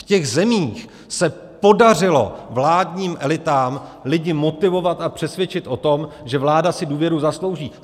V těch zemích se podařilo vládním elitám lidi motivovat a přesvědčit o tom, že vláda si důvěru zaslouží.